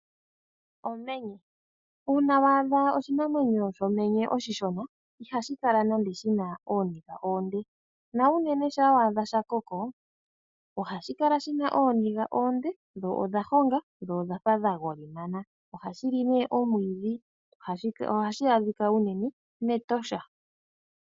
Omenye. Uuna waadha oshinamwenyo shomenye oshishona ihashi kala nando shina ooniga oonde. Unene ngele waadha shakoko, ohashi kala shina ooniga oonde, dho odha honga, dho odhafa dha golimana. Ohashi li omwiidhi . Ohashi adhika unene mEtosha.